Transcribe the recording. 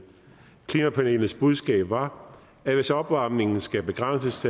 klimapanelets budskab var at hvis opvarmningen skal begrænses